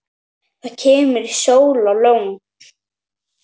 Það kemur sól og logn.